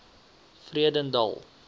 vredendal